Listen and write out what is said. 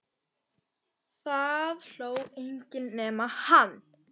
Það hló enginn nema hann.